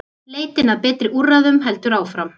Leitin að betri úrræðum heldur áfram.